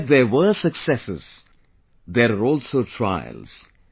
Where there are successes, there are also trials